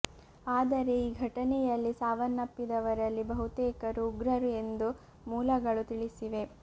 ಆದರೆ ಈ ಘಟನೆಂುುಲ್ಲಿ ಸಾವನ್ನಪ್ಪಿದವರಲ್ಲಿ ಬಹುತೇಕರು ಉಗ್ರರು ಎಂದು ಮೂಲಗಳು ತಿಳಿಸಿವೆ